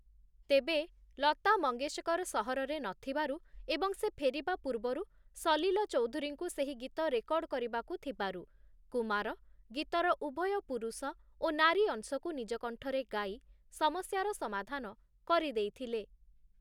ତେବେ, ଲତା ମଙ୍ଗେସକର ସହରରେ ନଥିବାରୁ ଏବଂ ସେ ଫେରିବା ପୂର୍ବରୁ ସଲିଲ ଚୌଧୁରୀଙ୍କୁ ସେହି ଗୀତ ରେକର୍ଡ଼ କରିବାକୁ ଥିବାରୁ, କୁମାର ଗୀତର ଉଭୟ ପୁରୁଷ ଓ ନାରୀ ଅଂଶକୁ ନିଜ କଣ୍ଠରେ ଗାଇ ସମସ୍ୟାର ସମାଧାନ କରିଦେଇଥିଲେ ।